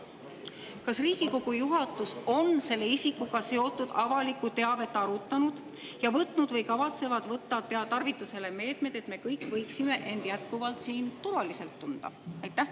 Kas Riigikogu juhatus on selle isikuga seotud avalikku teavet arutanud ja võtnud või kavatseb võtta tarvitusele meetmed, et me kõik võiksime end jätkuvalt siin turvaliselt tunda?